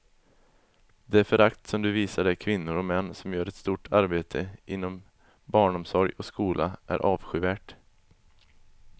Det förakt du visar de kvinnor och män som gör ett stort arbete inom barnomsorg och skola är avskyvärt.